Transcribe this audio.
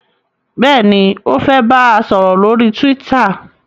béèni o fè bá sòrò lórí twitter.